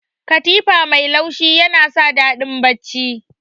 Katifa mai laushi yana sa daɗin bacci.